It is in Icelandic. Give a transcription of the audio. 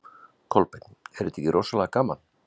Kolbeinn: Er þetta ekki rosalega gaman?